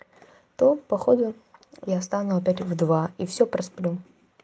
то походу я встану опять в два и все просплю